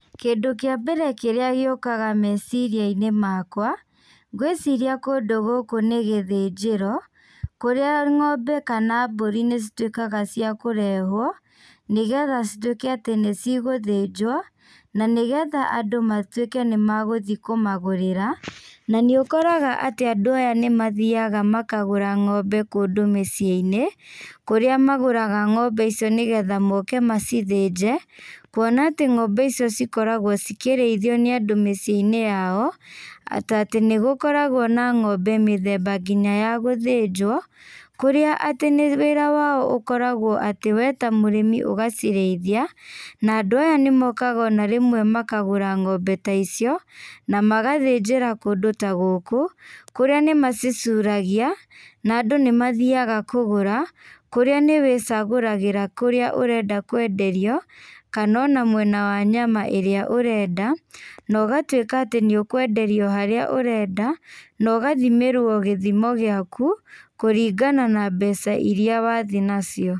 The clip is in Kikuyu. Kĩndũ kĩa mbere kĩrĩa gĩũkaga meciriainĩ makwa, ngwĩciria kũndũ gũkũ nĩgĩthĩnjĩro, kũrĩa ng'ombe kana mbũri nĩcituĩkaga cia kũrehwo, nĩgetha cituĩke atĩ nĩcigũthĩnjwo, na nĩgetha andũ matuĩke nĩmagũthiĩ kũmagũrĩra, na nĩũkoraga atĩ andũ aya nĩmathiaga makagũra ng'ombe kũndũ mĩciĩnĩ, kũrĩa magũraga ng'ombe icio nĩgeta moke macithĩnje, kuona atĩ ng'ombe icio cikoragwo cikĩrĩithwo nĩ andũ mĩciĩinĩ yao, ta tĩ nĩgũkoragwo na ng'ombe mĩthemba nginya ya gũthĩnjwo, kũrĩa atĩ nĩ wĩra wao ũkoragwo atĩ we ta mũrĩmi ũgacirĩithia, na andũ aya nĩmokaga ona rĩmwe makagũra ng'ombe ta icio, na magathĩnjĩra kũndũ ta gũkũ, kũrĩa nĩmacicuragia, na andũ nĩmathiaga kũgũra, kũrĩa nĩ wĩũagũragĩra kũrĩa ũrenda kwenderio, kana ona mwena wa nyama ĩrĩa ũrenda, na ũgatuĩka atĩ nĩũkwenderio harĩa ũrenda, na ũgathimĩrwo gĩthimo gĩaku, kũringana na mbeca iria wathiĩ nacio.